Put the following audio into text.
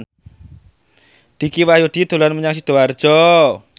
Dicky Wahyudi dolan menyang Sidoarjo